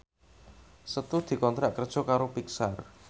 Setu dikontrak kerja karo Pixar